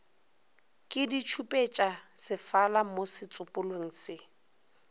ke ditšhupetšasefala mo setsopolweng se